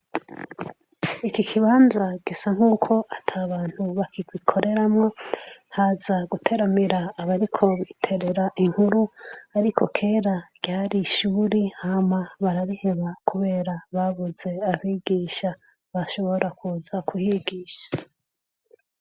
Iki kibanza gisa nk'uko ata bantu bakigikoreramwo. Haza abariko biterera inkuru, ariko kera ryari ishure, hama barabiheba kubera babuze abigisha bashobora kuza kuhigisha.